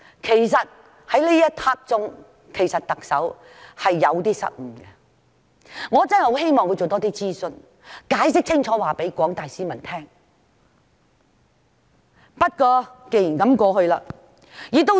其實，特首在那一刻是有一些失誤，我真的希望她多做一些諮詢，或向廣大市民解釋清楚。